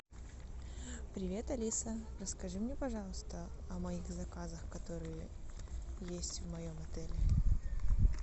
привет алиса расскажи мне пожалуйста о моих заказах которые есть в моем отеле